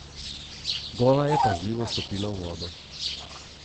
Gola je pazljivo stopila v vodo.